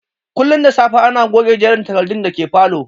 Kullum da safe ana goge jerin takardun da ke falow